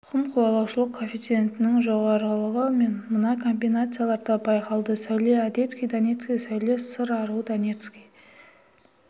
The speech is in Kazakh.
тұқым қуалаушылық коэффициентінің жоғарылығы мына комбинацияларда байқалды сәуле одесский донецкий сәуле сыр аруы донецкий